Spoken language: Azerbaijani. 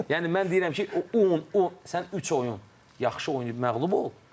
Yəni mən deyirəm ki, o 10, 10 sən üç oyun yaxşı oynayıb məğlub ol.